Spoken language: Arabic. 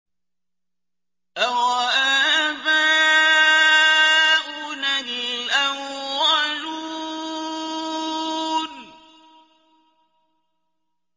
أَوَآبَاؤُنَا الْأَوَّلُونَ